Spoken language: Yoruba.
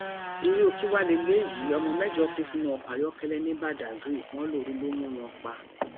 irú kí wàá lélẹyìí ọmọ mẹjọ kú sínú ọkọ ayọkẹlẹ ní badáy wọn lóoru ló mú wọn pa